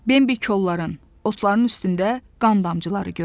Bembi kolların, otların üstündə qan damcıları gördü.